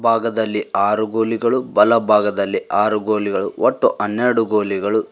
ಭಾಗದಲ್ಲಿ ಆರು ಗೋಲಿಗಳು ಬಲ ಭಾಗದಲ್ಲಿ ಆರು ಗೋಲಿಗಳು ಒಟ್ಟು ಅನ್ನೆರಡು ಗೋಲಿಗಳು --